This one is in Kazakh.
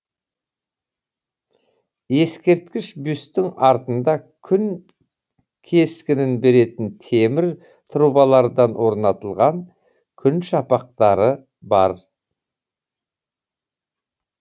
ескерткіш бюсттің артында күн кескінін беретін темір трубалардан орнатылған күн шапақтары бар